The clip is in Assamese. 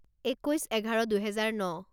একৈছ এঘাৰ দুহেজাৰ ন